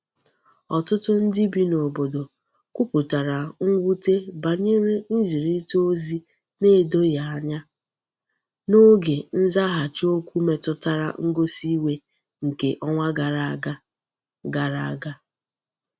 Otutu ndi bi n'obodo kwuputara nwute banyere nzirita ozi na-edoghi anya n'oge nzaghachi okwu metutara ngosi iwe nke onwa gara aga. gara aga.